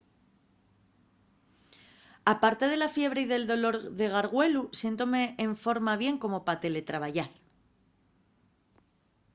aparte de la fiebre y del dolor de gargüelu siéntome enforma bien como pa teletrabayar